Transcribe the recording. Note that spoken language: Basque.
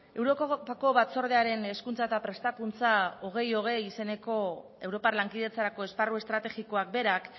europako batzordearen hezkuntza eta prestakuntza bi mila hogei izeneko europar lankidetzarako esparru estrategikoak berak